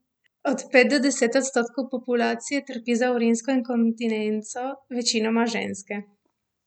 Od pet do deset odstotkov populacije trpi za urinsko inkontinenco, večinoma ženske.